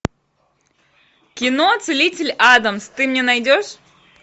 кино целитель адамс ты мне найдешь